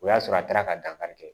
O y'a sɔrɔ a taara ka dankari kɛ